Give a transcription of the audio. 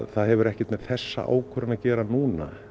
það hefur ekkert með þessa ákvörðun að gera núna